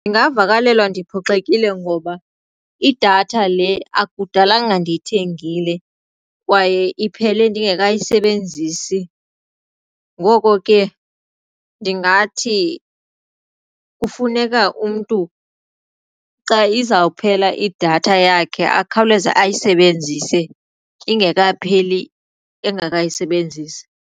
Ndingavakalelwa ndiphoxekile ngoba idatha le akudalanga ndiyithengile kwaye iphele ndingekayisebenzisi. Ngoko ke ndingathi kufuneka umntu xa izawuphela idatha yakhe akhawuleze ayisebenzise ingekapheli engakayisebenzisi.